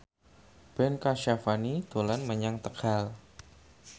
Ben Kasyafani dolan menyang Tegal